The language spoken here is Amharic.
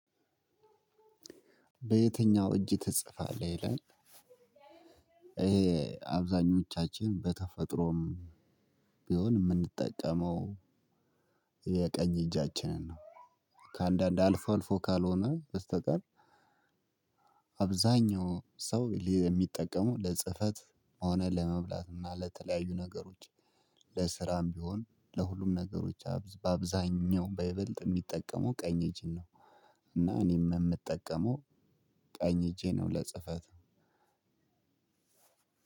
በየትኛው እጅ ትጽፋለህ ይላል? ይሄ አብዛኞቻችን በተፈጥሮም ቢሆን የምንጠቀመው የቀኝ እጃችንን ነው። ከአንዳንድ አልፎ አልፎ ካልሆነ በስተቀር። አብዛኛው ሰው የሚጠቀሙ ለጽህፈት ሆነ ለመብላትና ለተለያዩ ነገሮች ለስራም ቢሆን ለሁሉም ነገሮች በአብዛኛው በይበልጥ የሚጠቀመው ቀኝ እጅን ነው። እና እኔም የምጠቀመው ቀኝ እጄን ነው። ለጽህፈት